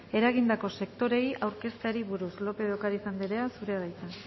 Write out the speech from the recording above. eragindako sektoreei aurkezteari buruz lópez de ocariz anderea zurea da hitza